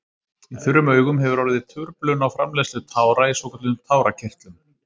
Í þurrum augum hefur orðið truflun á framleiðslu tára í svokölluðum tárakirtlum.